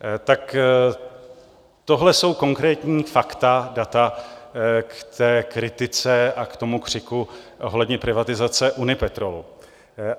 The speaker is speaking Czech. Tak tohle jsou konkrétní fakta, data k té kritice a k tomu křiku ohledně privatizace Unipetrolu.